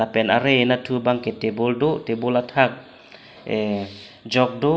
lapen arai anatthu bangke table do table athak jok do.